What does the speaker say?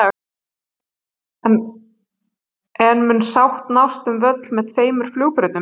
En mun sátt nást um völl með tveimur flugbrautum?